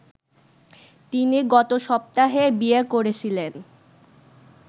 তিনি গতসপ্তাহে বিয়ে করেছিলেন